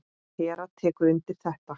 Hera tekur undir þetta.